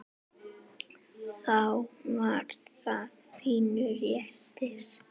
Þá var það pínu léttir.